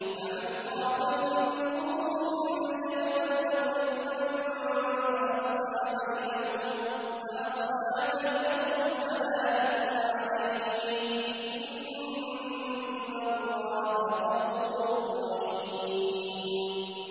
فَمَنْ خَافَ مِن مُّوصٍ جَنَفًا أَوْ إِثْمًا فَأَصْلَحَ بَيْنَهُمْ فَلَا إِثْمَ عَلَيْهِ ۚ إِنَّ اللَّهَ غَفُورٌ رَّحِيمٌ